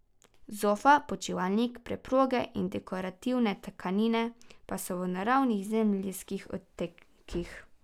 Zofa, počivalnik, preproge in dekorativne tkanine pa so v naravnih zemeljskih odtenkih.